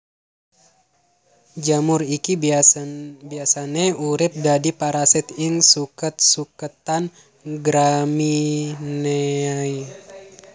Jamur iki biasane urip dadi parasit ing suket suketan Gramineae